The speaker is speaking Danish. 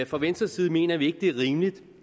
fra venstres side mener vi ikke at det er rimeligt